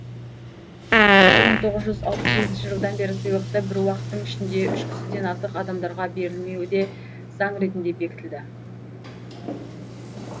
бір мың тоғыз жүз алпыс сегізінші жылдан бері сыйлықты бір уақыттың ішінде үш кісіден артық адамдарға берілмеуі де заң ретінде бекітілді